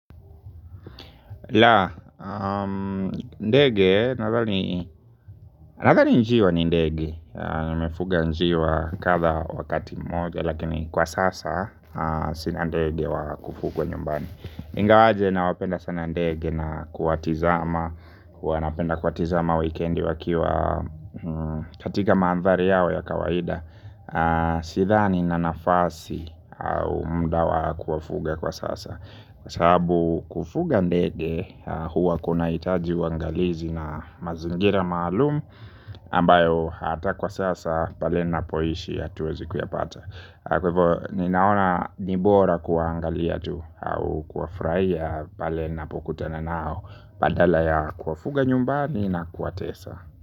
La, ndege, nadhani njiwa ni ndege. Nimefuga njiwa kadhaa wakati mmoja. Lakini kwa sasa sina ndege wa kufugwa nyumbani ingawaje nawapenda sana ndege na kuwatizama huwa napenda kuwatizama wikendi wakiwa katika mandhari yao ya kawaida. Sidhani nina nafasi au muda wa kuwafuga kwa sasa. Kwa sababu kufuga ndege huwa kunahitaji uangalizi na mazingira maalumu ambayo hata kwa sasa pale napoishi hatuwezi kuyapata. Kwa hivyo ninaona ni bora kuwaangalia tu au kuwafurahia pale napokutana nao badala ya kuwafuga nyumbani na kuwatesa.